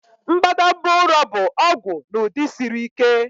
Mbadamba ụrọ bụ ọgwụ n'ụdị siri ike.